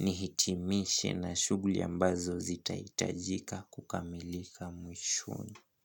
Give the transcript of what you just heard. Nihitimishe na shughuli ambazo zitahitajika kukamilika mwishoni.